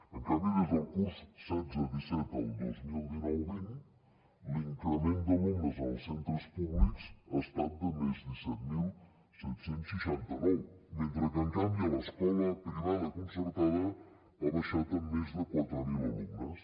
en canvi des del curs setze disset al dos mil dinou vint l’increment d’alumnes en els centres públics ha estat de més disset mil set cents i seixanta nou mentre que en canvi a l’escola privada concertada ha baixat en més de quatre mil alumnes